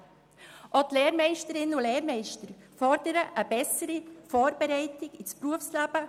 Auch die Lehrmeisterinnen und Lehrmeister fordern eine bessere Vorbereitung auf das Berufsleben.